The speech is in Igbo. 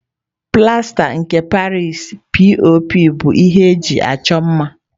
Plasta nke Paris (P.O.P) bụ ihe eji achọ mma.